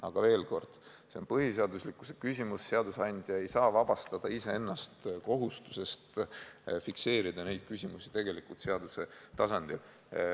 Aga veel kord, see on põhiseaduslikkuse küsimus ja seadusandja ei saa vabastada iseennast kohustusest lahendada need küsimused seaduse tasandil.